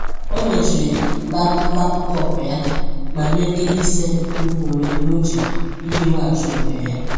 Ọ mechiri laptọọpụ ya ma mee nkeji ise nke iku ume n’uche iji weghachi onwe ya.